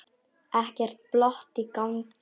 Ekkert plott í gangi.